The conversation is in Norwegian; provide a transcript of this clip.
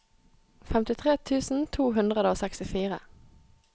femtitre tusen to hundre og sekstifire